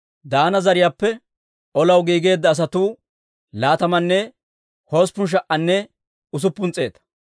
Daana zariyaappe olaw giigeedda asatuu laatamanne hosppun sha"anne usuppun s'eeta.